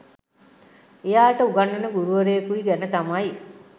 එයාට උගන්වන ගුරුවරයකුයි ගැන තමයි